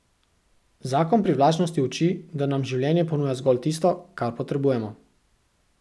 Zakon privlačnosti uči, da nam življenje ponuja zgolj tisto, kar potrebujemo.